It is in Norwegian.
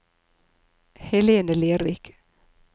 Helene Lervik